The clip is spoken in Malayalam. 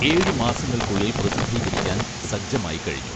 ഏഴു മാസങ്ങൾക്കുള്ളിൽ പ്രസിദ്ധീകരിക്കാൻ സജ്ജമായിക്കഴിഞ്ഞു